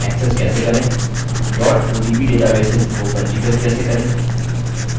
odb databases को पंजीकृत कैसे करें